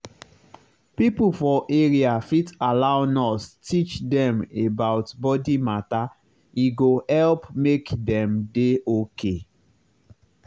people for area fit allow nurse teach dem about body matter e go help make dem dey okay.